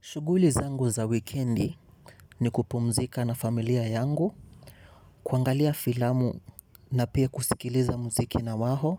Shughuli zangu za wikendi ni kupumzika na familia yangu, kuangalia filamu na pia kusikiliza mziki na wao